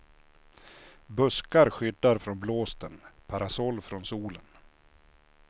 Buskar skyddar från blåsten, parasoll från solen.